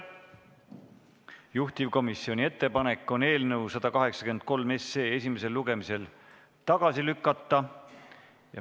Juhtivkomisjoni ettepanek on eelnõu 183 esimesel lugemisel tagasi lükata.